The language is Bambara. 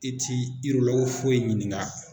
I ti foyi ye ɲininga